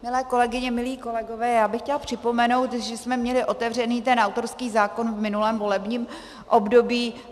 Milé kolegyně, milí kolegové, já bych chtěla připomenout, že jsme měli otevřený ten autorský zákon v minulém volebním období.